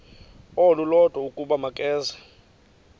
olulodwa ukuba makeze